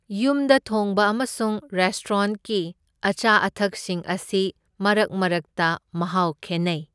ꯌꯨꯝꯗ ꯊꯣꯡꯕ ꯑꯃꯁꯨꯡ ꯔꯦꯁꯇ꯭ꯔꯣꯟꯠꯀꯤ ꯑꯆꯥ ꯑꯊꯛꯁꯤꯡ ꯑꯁꯤ ꯃꯔꯛ ꯃꯔꯛꯇ ꯃꯍꯥꯎ ꯈꯦꯟꯅꯩ꯫